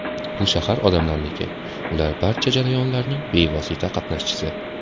Bu shahar odamlarniki, ular barcha jarayonlarning bevosita qatnashchisi.